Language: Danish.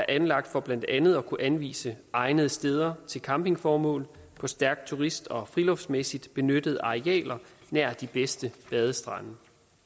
anlagt for blandt andet at kunne anvise egnede steder til campingformål på stærkt turist og friluftsmæssigt benyttede arealer nær de bedste badestrande